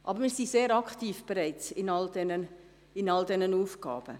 Wir sind aber bereits sehr aktiv in all diesen Aufgaben.